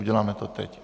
Uděláme to teď.